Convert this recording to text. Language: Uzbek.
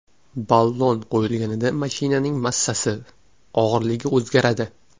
Ballon qo‘yilganida mashinaning massasi, og‘irligi o‘zgaradi.